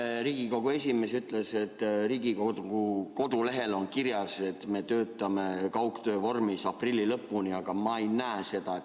Eile Riigikogu esimees ütles, et Riigikogu kodulehel on kirjas, et me töötame kaugtöö vormis aprilli lõpuni, aga ma ei näe seda.